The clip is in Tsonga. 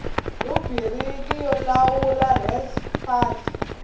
rhubiriki yo lawula res fal